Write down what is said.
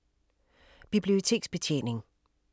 Biblioteksbetjening